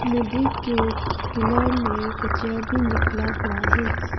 नदी के किनार में कचरा भी निकला हुआ है।